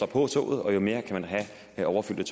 på toget og jo mere overfyldte